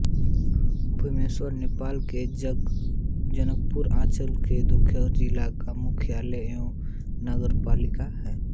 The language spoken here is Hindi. भीमेश्वर नेपाल के जनकपुर अंचल के दोलखा जिला का मुख्यालय एवं नगरपालिका है